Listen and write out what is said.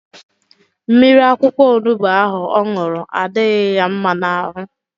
Mmiri akwụkwọ onubu ahụ ọ ṅụrụ adịrọ ya mma n'ahụ.